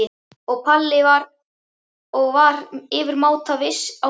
sagði Palli og var yfirmáta viss í sinni sök.